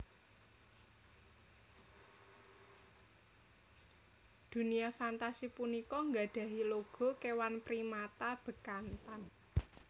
Dunia Fantasi punika nggadhahi logo kéwan primata bekantan